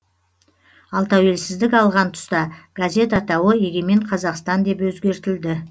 ал тәуелсіздік алған тұста газет атауы егемен қазақстан деп өзгертілді